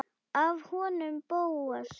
Af honum Bóasi?